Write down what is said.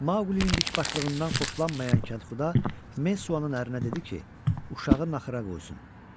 Maqlinin dikbaşlığından xoşlanmayan kəndxuda Mesuanın ərinə dedi ki, uşağı naxıra qoysun.